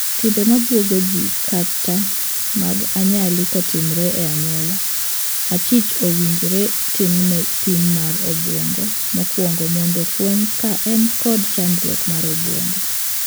Timbe ma buogo jii kata mag anyali kotimore e anyuola, achich owinjore timne pim mar obuongo mokuongo mondo fweny ka en kod chandruok mar obuongo.